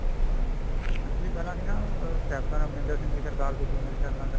actually ਪਹਿਲਾਂ ਅਸੀਂ ਨਾ ਕੈਪਟਨ ਅਮਰਿੰਦਰ ਸਿੰਘ ਦੀ ਸਰਕਾਰ ਸੀਗੀ ਮੇਰੇ ਖਿਆਲ ਨਾਲ ਤਾਂ